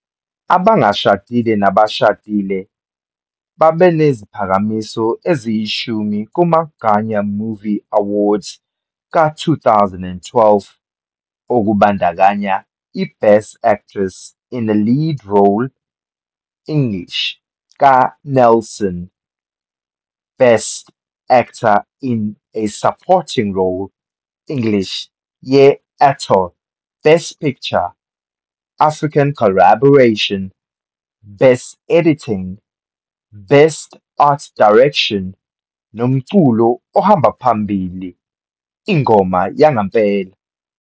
"Abangashadile nabashadile" babeneziphakamiso eziyishumi kuma-Ghana Movie Awards ka-2012, okubandakanya iBest Actress in a Lead Role, English, kaNelson, Best Actor in a Supporting Role, English, ye-Attoh, Best Picture - African Collaboration, Best Editing, Best Art Direction Nomculo Ohamba Phambili, Ingoma yangempela.